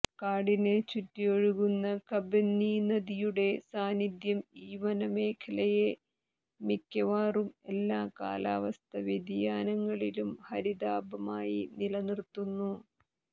കാടിനെ ചുറ്റി ഒഴുകുന്ന കബനീനദിയുടെ സാന്നിധ്യം ഈ വനമേഖലയെ മിക്കവാറും എല്ലാ കാലാവസ്ഥാവ്യതിയാനങ്ങളിലും ഹരിതാഭമായി നിലനിര്ത്തുന്നു